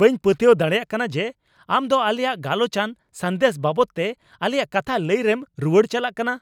ᱵᱟᱹᱧ ᱯᱟᱹᱛᱭᱟᱹᱣ ᱫᱟᱲᱮᱭᱟᱜ ᱠᱟᱱᱟ ᱡᱮ, ᱟᱢ ᱫᱚ ᱟᱞᱮᱭᱟᱜ ᱜᱟᱞᱚᱪᱟᱱ ᱥᱟᱸᱫᱮᱥ ᱵᱟᱵᱚᱫᱛᱮ ᱟᱞᱮᱭᱟᱜ ᱠᱟᱛᱷᱟ ᱞᱟᱹᱭ ᱨᱮᱢ ᱨᱩᱣᱟᱹᱲ ᱪᱟᱞᱟᱜ ᱠᱟᱱᱟ ᱾